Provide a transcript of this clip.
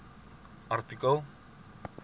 artikel